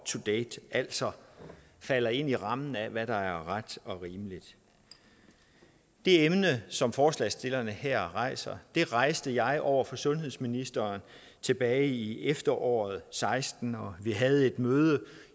to date altså falder inden for rammerne af hvad der er ret og rimeligt det emne som forslagsstillerne her rejser rejste jeg over for sundhedsministeren tilbage i efteråret seksten og vi havde et møde